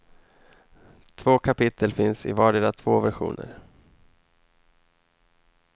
Två kapitel finns i vardera två versioner.